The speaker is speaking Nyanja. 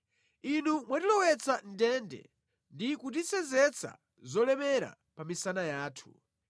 Inu mwatilowetsa mʼndende ndi kutisenzetsa zolemera pa misana yathu.